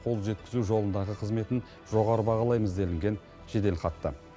қол жеткізу жолындағы қызметін жоғары бағалаймыз делінген жеделхатта